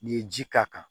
N'i ye ji k'a kan